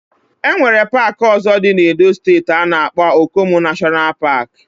Enwere park ozo di na Edo steeti ana akpo Okomu National Park.